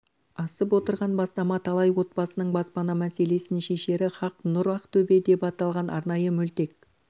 асып отырған бастама талай отбасының баспана мәселесін шешері хақ нұр ақтөбе деп аталған арнайы мөлтек